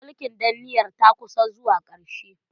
Mulkin danniyar ta kusa zuwa ƙarshe.